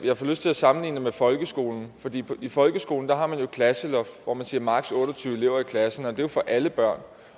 jeg får lyst til at sammenligne det med folkeskolen i folkeskolen har man jo et klasseloft hvor man siger maksimum otte og tyve elever i klassen og det er jo for alle børn